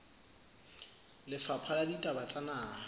lefapha la ditaba tsa naha